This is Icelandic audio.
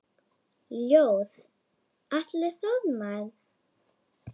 Ljóð: Atli Þormar